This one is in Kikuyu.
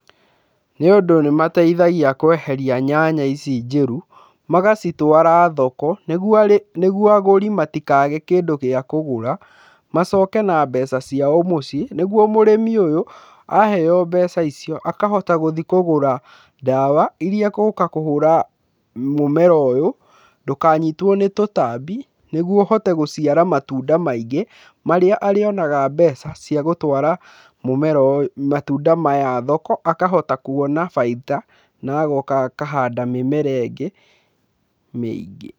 Nĩ ũndũ nĩ mateithagia kweheria nyanya ici njũru, magacitwara thoko, nĩguo agũri matikage kĩndũ gĩa kũgũra macoke na mbeca ciao mũciĩ, nĩguo mũrĩmi ũyũ aheyo mbeca icio akahota gũthiĩ kũgũra ndawa irĩa agũka kũhũra mũmera ũyũ, ndũkanyitwo nĩ tũtambi nĩguo ũhote gũciara matunda maingĩ, marĩa arĩonaga mbeca cia gũtwara matunda maya thoko, akahota kuona baita na agoka akahanda mĩmera ĩngĩ mĩingĩ.